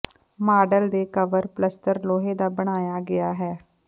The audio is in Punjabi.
ਮਾਡਲ ਦੇ ਕਵਰ ਪਲੱਸਤਰ ਲੋਹੇ ਦਾ ਬਣਾਇਆ ਗਿਆ ਹੈ